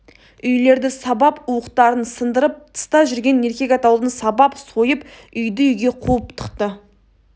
үйлерді сабап уықтарын сындырып тыста жүрген еркек атаулыны сабап сойып үйді-үйге қуып тықты